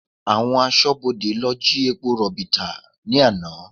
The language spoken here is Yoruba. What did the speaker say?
Àwọn aṣọ́bodè lọ jí epo rọ̀bì tà ní àná